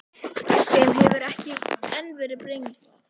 Þeim hefur ekki enn verið brenglað.